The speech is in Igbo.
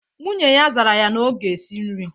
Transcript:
Nwunye ya zara ya na ọ ga-esi nri